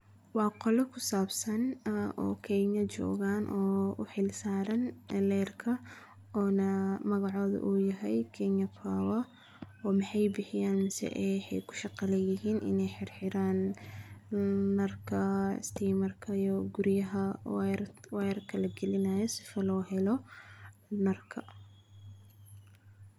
Waa qolo ku saabsan, ah, oo kenya joogaan oo u xilsaaran leerka oona magacodu u yahay keynya faafa oo maxay bixiyaan si ay hay ku shaqo la yeelin inay xirxiraan, mm, narka asti marka iyo guryaha wayr-wayrka la gelinayo si falo helo narka.